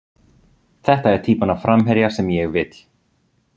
Þetta er týpan af framherja sem ég vill.